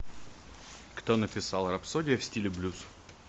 кто написал рапсодия в стиле блюз